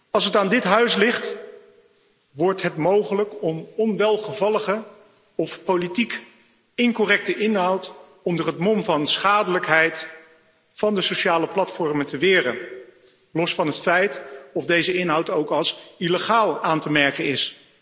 Als het aan dit huis ligt, wordt het mogelijk om onwelgevallige of politiek incorrecte inhoud onder het mom van schadelijkheid van de sociale platformen te weren, los van het feit of deze inhoud ook als illegaal aan te merken is.